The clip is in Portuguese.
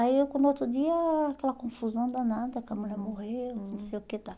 Aí quando o outro dia aquela confusão danada, que a mulher morreu, não sei o que e tal.